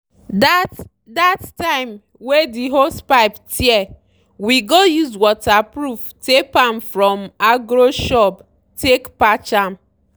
that that time wey the hosepipe tear we go use waterproof tape from agro shop take patch am.